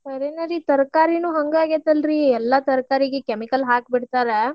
ಖರೆನಾರ್ರಿ ತರಕಾರಿನೂ ಹಂಗ ಆಗೇತಲ್ರಿ ಎಲ್ಲಾ ತರಕಾರಿಗೆ chemical ಹಾಕಿಬಿಡ್ತಾರ.